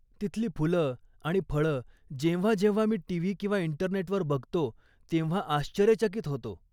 तिथली फुलं आणि फळं जेव्हा जेव्हा मी टीव्ही किंवा इंटरनेटवर बघतो, तेव्हा आश्चर्यचकीत होतो.